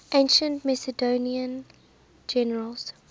ancient macedonian generals